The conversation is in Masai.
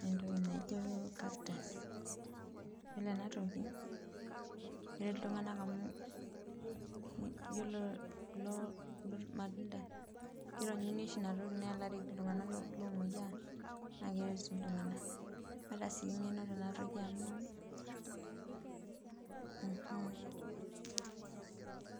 neentoki naijo cactus iyolo enatokiyiolo ltunganak amu yiolo kulo matunda kironyuni oshi inatoki neelareki ltunganak omoyianakeret sii ltunganak, kaata sii engeno tenatoki amu mmh.